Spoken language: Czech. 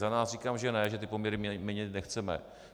Za nás říkám že ne, že ty poměry měnit nechceme.